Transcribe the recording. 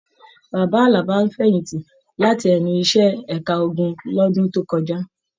Bàbá Àlàbá fẹ̀yìntì láti ẹnu iṣẹ ẹ̀ka ogun l'ọdun to kọjá.